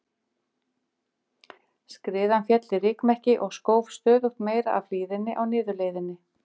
Skriðan féll í rykmekki og skóf stöðugt meira af hlíðinni á niðurleiðinni.